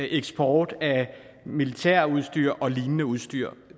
eksport af militærudstyr og lignende udstyr